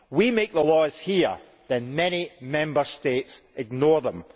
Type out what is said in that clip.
We make the laws here, then many Member States ignore them.